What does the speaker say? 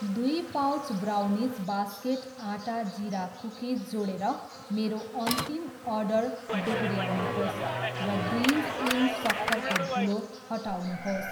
दुई pouch brownies basket आटा जिरा कुकिज जोडेर मेरो अन्तिम अर्डर दोहोऱ्याउनुहोस् र ग्रिन्ज इन सक्खरको धुलो हटाउनुहोस्।